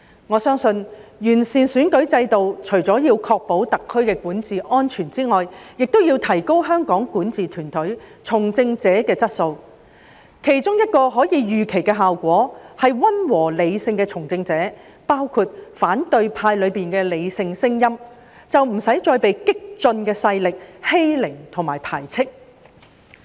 我相信完善選舉制度，除為確保特區的管治安全外，也要提高香港管治團隊從政者的質素，其中一個可以預期的效果，便是溫和、理性的從政者，包括反對派中的理性聲音，不會被激進勢力欺凌和排斥。